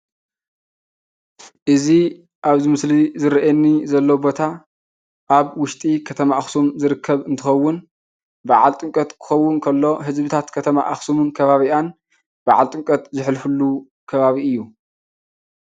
እዚ ኣብዚ ምስሊ ዝረኣየኒ ዘሎ ቦታ ኣብ ውሽጢ ከተማ ኣኽሱም ዝርከብ እንትኸውን በዓል ጥምቀት ክኸውን ከሎ ህዝብታት ከተማ ኣኸሱምን ከባቢኣን በዓል ጥምቀት ዘሕልፍሉ ከባቢ እዩ።